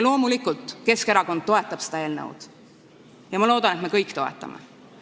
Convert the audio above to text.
Loomulikult Keskerakond toetab seda eelnõu ja ma loodan, et me kõik toetame.